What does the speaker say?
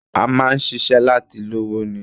A máa ń ṣiṣẹ́ láti lówó ni